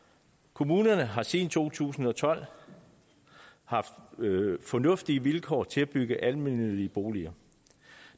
kommunerne har siden to tusind og tolv haft fornuftige vilkår til at bygge almennyttige boliger